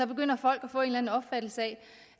begynder folk at få en opfattelse